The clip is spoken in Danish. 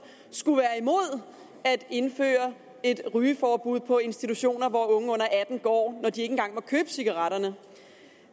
skulle være imod at indføre et rygeforbud på institutioner hvor unge under atten år når de ikke engang må købe cigaretterne